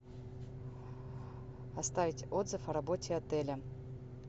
оставить отзыв о работе отеля